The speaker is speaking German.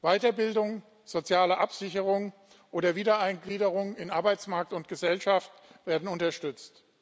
Weiterbildung, soziale Absicherung oder Wiedereingliederung in Arbeitsmarkt und Gesellschaft werden unterstützt.